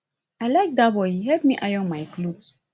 i like dat boy he help me iron my cloth